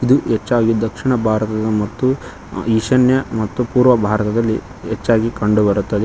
ಇದು ಹೆಚ್ಚಾಗಿ ದಕ್ಷಿಣ ಭಾರತದ ಮತ್ತು ಈಶಾನ್ಯ ಮತ್ತು ಪೂರ್ವ ಭಾರತದಲ್ಲಿ ಹೆಚ್ಚಾಗಿ ಕಂಡುಬರುತ್ತದೆ.